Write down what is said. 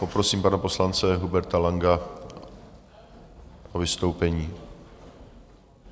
Poprosím pana poslance Huberta Langa o vystoupení.